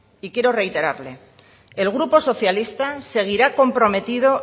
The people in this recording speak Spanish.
y quiero reiterarle el grupo socialista seguirá comprometido